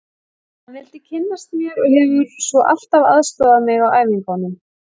Hann vildi kynnast mér og hefur svo alltaf aðstoðað mig á æfingum.